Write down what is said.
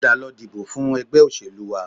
Padà lọ dìbò fún ẹgbẹ́ òṣèlú wa